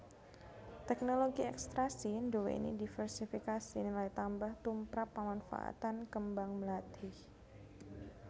Teknologi ekstraksi nduwèni divérsifikasi nilai tambah tumprap pamanfaatan kembang mlathi